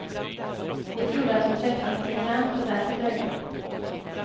Vi trodde att hon träffat en bekant och därför dröjde.